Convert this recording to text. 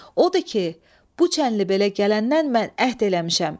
Odur ki, bu çənli belə gələndən mən əhd eləmişəm.